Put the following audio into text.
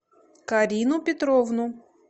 карину петровну